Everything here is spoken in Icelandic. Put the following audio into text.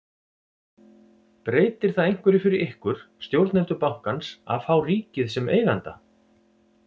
Breytir það einhverju fyrir ykkur, stjórnendur bankans að fá ríkið sem eiganda?